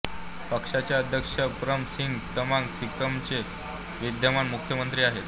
पक्षाचे अध्यक्ष प्रम सिंह तमांग सिक्कीमचे विद्यमान मुख्यमंत्री आहेत